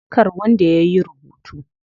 Kar wanda yayi rubutu.